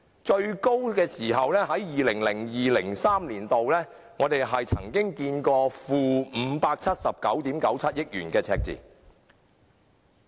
最高是在 2002-2003 年度，曾出現 -579.97 億元的赤字。